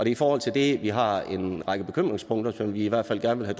i forhold til det at vi har en række bekymringspunkter som vi i hvert fald gerne vil